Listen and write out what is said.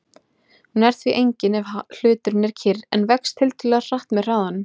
Hún er því engin ef hluturinn er kyrr en vex tiltölulega hratt með hraðanum.